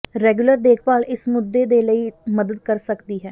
regular ਦੇਖਭਾਲ ਇਸ ਮੁੱਦੇ ਦੇ ਲਈ ਮਦਦ ਕਰ ਸਕਦੀ ਹੈ